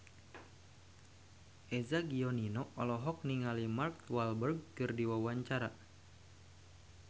Eza Gionino olohok ningali Mark Walberg keur diwawancara